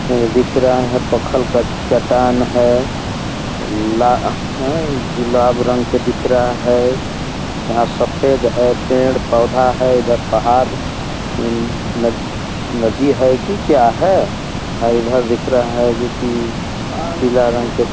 ये दिख रहा है पखल का चट्टान है लाल है गुलाब रंग के दिख रहा है यहाँ सफ़ेद है पेड़-पौधा है इधर पहाड़ इन नदी नदी है की क्या है ? और इधर दिख रहा है जोकि पीला रंग के --